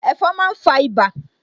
Ẹ̀fon máa ń fa ibà